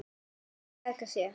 Að bjarga sér.